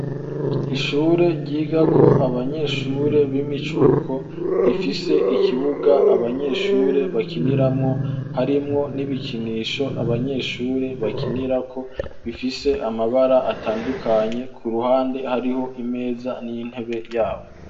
Ishure ryigako abanyeshure b'imicuko rifise ikibuga abanyeshure bakiniramwo harimwo n'ibikinisho abanyeshure bakinirako bifise amabara atandukanye ku ruhande hariho imeza n'intebe yabo.